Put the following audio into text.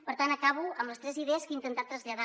per tant acabo amb les tres idees que he intentat traslladar